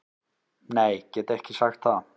Nei get ekki sagt það.